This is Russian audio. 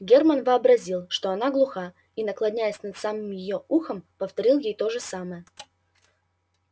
герман вообразил что она глуха и наклонясь над самым её ухом повторил ей то же самое